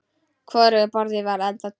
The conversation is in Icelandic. Hvorugu boðinu var þá tekið.